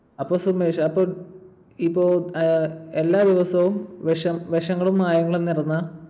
അപ്പൊ സുമേഷ് അപ്പൊ ~ ഇപ്പൊ ഏർ എല്ലാ ദിവസവും വിഷം ~ വിഷങ്ങളും മായങ്ങളും നിറഞ്ഞ